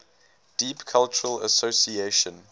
deep cultural association